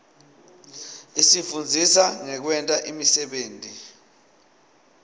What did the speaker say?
isifundzisa ngekwenta imisebenti